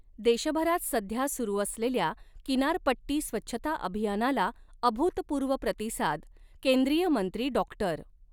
देशभरात सध्या सुरू असलेल्या किनारपट्टी स्वच्छता अभियानाला अभूतपूर्व प्रतिसाद केंद्रीय मंत्री डॉक्टर.